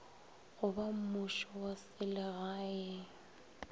go bammušo wa selega go